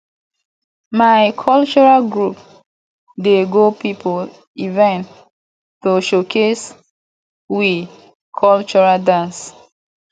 my cultural group dey go pipo event to showcase we cultural dance